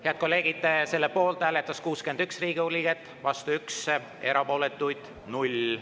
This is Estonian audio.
Head kolleegid, selle poolt hääletas 61 Riigikogu liiget, vastu 1, erapooletuid 0.